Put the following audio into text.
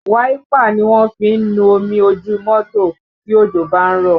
Wáípà ni a fi ń nu omi ojú mọ́tò tí òjò bá ń rọ̀